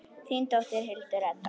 Þín dóttir, Hildur Edda.